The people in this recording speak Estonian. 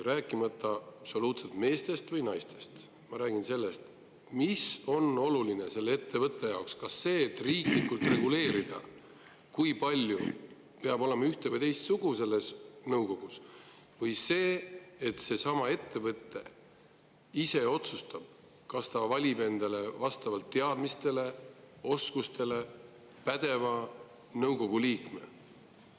Ma ei räägi absoluutselt meestest või naistest, ma räägin sellest, mis on selle ettevõtte seisukohalt oluline: kas see, kui riiklikult reguleerida, kui palju peab nõukogus ühte või teist sugu olema, või see, et seesama ettevõte ise otsustab ja valib nõukogusse teadmiste ja oskuste poolest pädeva liikme.